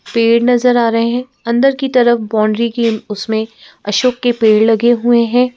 पेड़ नजर आ रहे हैं अंदर की तरफ बाउंड्री की उसमेंअशोक के पेड़ लगे हुए हैं।